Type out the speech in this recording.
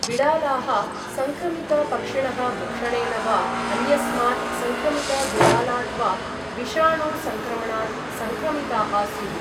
बिडालाः संक्रमित पक्षिणः भक्षणेन वा अन्यस्मात् संक्रमित बिडालात् वा विषाणु संक्रमणात् संक्रमिताः स्युः।